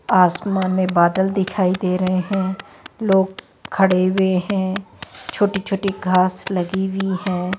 आसमान में बादल दिखाई दे रहे है लोग खड़े हुए है छोटी छोटी घास लगी हुई है।